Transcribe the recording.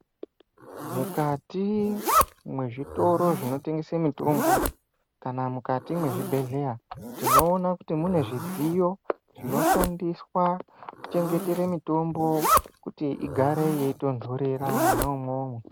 Mukati mwezvitoro zvinotengesa mitombo kana mukati mezvibhedhlera tinoona kuti mune zvidziyo zvinoshandiswa kuchengetera mitombo kuti igare yeitondorera mwona imomo.